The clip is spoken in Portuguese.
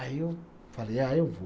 Aí eu falei, ah, eu vou.